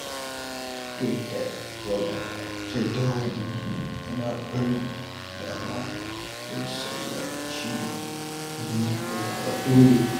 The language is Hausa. Duk da yana da jadawali, yana barin dama don sauya shiri idan ya zama dole.